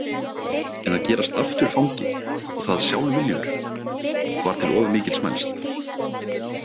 En að gerast aftur fangi, og það sjálfviljugur, var til of mikils mælst.